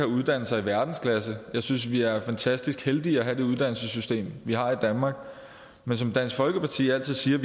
uddannelser i verdensklasse jeg synes vi er fantastisk heldige at have det uddannelsessystem vi har i danmark men som dansk folkeparti altid siger